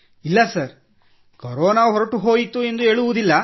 ಇಲ್ಲ sir corona ಹೊರಟು ಹೋಯಿತು ಎಂದು ಹೇಳುವುದಿಲ್ಲ